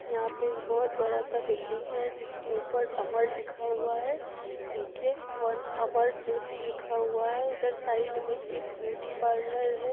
यहाँ पे बहोत बड़ा सा बिल्डिंग है जिसके ऊपर अमर लिखा हुआ है नीचे फन अमर ज्योति लिखा हुआ है इधर साइड में एक ब्यूटीपार्लर है।